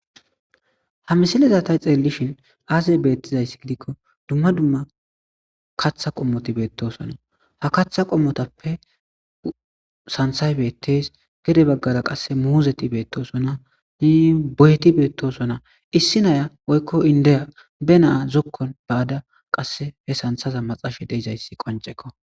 Ha misilezatay xeellishin aasey beettizayssi gidikko dumma dumma katha qommoti beettosonna ha katha qommotappe santhay beettes gede baggara qasse muuzeti beettosona i boyeti beettosona issi naya woykko indeya be naa zokkon baada qass he santhaza maxashe deizayssi qoncekko.